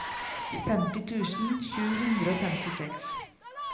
femti tusen sju hundre og femtiseks